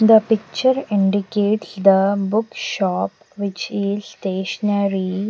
the picture indicates the book shop which is stationery.